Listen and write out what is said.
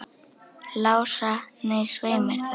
Lása, nei, svei mér þá.